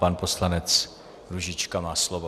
Pan poslanec Růžička má slovo.